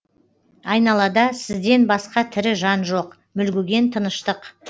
айналада сізден басқа тірі жан жоқ мүлгіген тыныштық